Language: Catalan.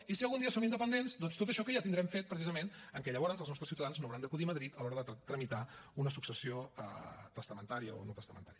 i si algun dia som independents doncs tot això que ja tindrem fet precisament que llavors els nostres ciutadans no hauran d’acudir a madrid a l’hora de tramitar una successió testamentària o no testamentària